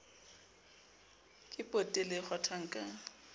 ke potele e kgwathwang ka